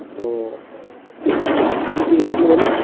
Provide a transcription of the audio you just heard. ও তুমি কি বোলছিলে বলো